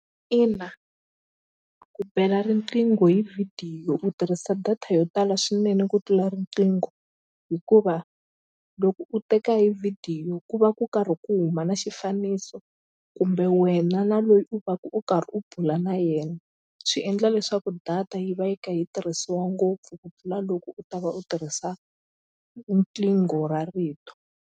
Ina ku bela riqingho hi vhidiyo u tirhisa data yo tala swinene ku tlula riqingho hikuva loko u teka hi vhidiyo ku va ku karhi ku huma na xifaniso kumbe wena na loyi u va u karhi u bula na yena swi endla leswaku data yi va yi kha yi tirhisiwa ngopfu ku pfula loko u ta va u tirhisa riqingho ra rito.